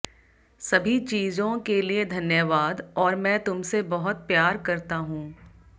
सभी चीजों के लिए धन्यवाद और मैं तुमसे बहुत प्यार करता हूं